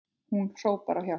Hún hrópar á hjálp.